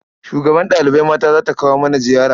Shugabar ɗalibai mata za ta kawo mana ziyara.